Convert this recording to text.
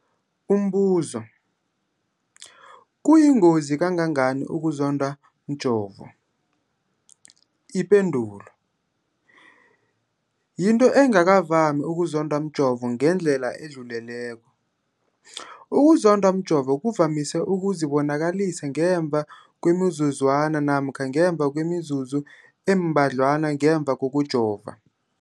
Umbuzo, kuyingozi kangangani ukuzondwa mjovo? Ipendulo, yinto engakavami ukuzondwa mjovo ngendlela edluleleko. Ukuzondwa mjovo kuvamise ukuzibonakalisa ngemva kwemizuzwana namkha ngemva kwemizuzu embadlwana ngemva kokujova.